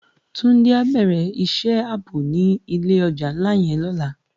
Tunji á bèrè isë àbó ni ilé òjá nlá yèn lòlá